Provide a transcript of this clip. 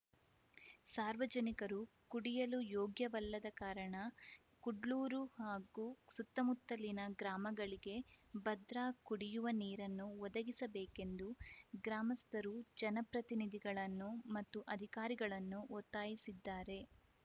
ಸಾರ್ವಜನಿಕರು ಕುಡಿಯಲು ಯೋಗ್ಯ ವಲ್ಲದ ಕಾರಣ ಕುಡ್ಲೂರು ಹಾಗೂ ಸುತ್ತಮುತ್ತಲಿನ ಗ್ರಾಮಗಳಿಗೆ ಭದ್ರಾ ಕುಡಿಯುವ ನೀರನ್ನು ಒದಗಿಸಬೇಕೆಂದು ಗ್ರಾಮಸ್ಥರು ಜನಪ್ರತಿನಿಧಿಗಳನ್ನು ಮತ್ತು ಅಧಿಕಾರಿಗಳನ್ನು ಒತ್ತಾಯಿಸಿದ್ದಾರೆ